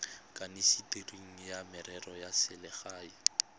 kanisitsweng wa merero ya selegae